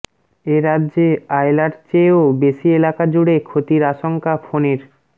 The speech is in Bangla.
এ রাজ্যে আয়লার চেয়েও বেশি এলাকা জুড়ে ক্ষতির আশঙ্কা ফণীর